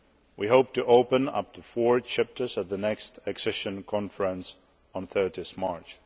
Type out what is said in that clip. We hope to open up to four chapters at the next Accession Conference on 30 March.